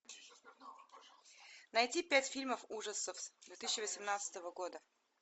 найти пять фильмов ужасов две тысячи восемнадцатого года